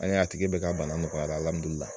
An y'a ye a tigi bɛɛ ka bana nɔgɔyara